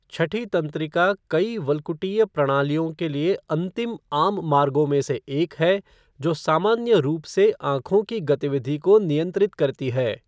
छठी तंत्रिका कई वल्कुटीय प्रणालियों के लिए अंतिम आम मार्गों में से एक है जो सामान्य रूप से आंखों की गतिविधि को नियंत्रित करती है।